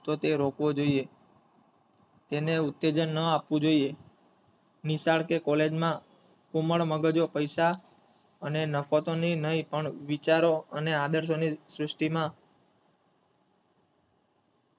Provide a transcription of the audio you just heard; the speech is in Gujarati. તો તે રોકવો જોયે તેને ઉત્તેજન ના આપવું જોયે નિશાળ કે college માં કુમળ મગજો પૈસા અને નક્તોની નહીં પણ વિચારો અને આદર્શોની સૃષ્ટિમાં,